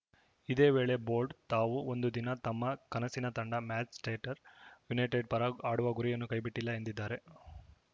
ಇದೇ ವೇಳೆ ಬೋಲ್ಟ‌ ತಾವು ಒಂದು ದಿನ ತಮ್ಮ ಕನಸಿನ ತಂಡ ಮ್ಯಾಂಚೆಸ್ಟರ್‌ ಯುನೈಟೆಡ್‌ ಪರ ಆಡುವ ಗುರಿಯನ್ನು ಕೈಬಿಟ್ಟಿಲ್ಲ ಎಂದಿದ್ದಾರೆ